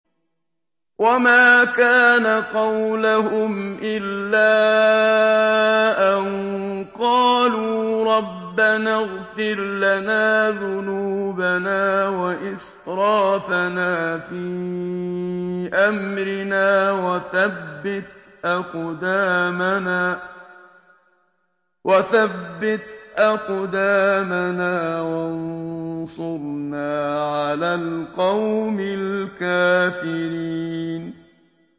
وَمَا كَانَ قَوْلَهُمْ إِلَّا أَن قَالُوا رَبَّنَا اغْفِرْ لَنَا ذُنُوبَنَا وَإِسْرَافَنَا فِي أَمْرِنَا وَثَبِّتْ أَقْدَامَنَا وَانصُرْنَا عَلَى الْقَوْمِ الْكَافِرِينَ